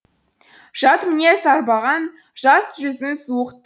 жат мінез арбаған жас жүзің суық